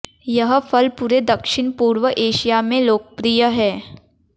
यह फल पूरे दक्षिण पूर्व एशिया में लोकप्रिय है